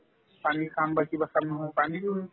পানী খাম বা কিবা খাম